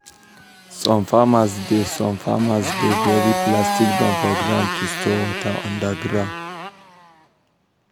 some farmers dey some farmers dey bury plastic drum for ground to store water under ground.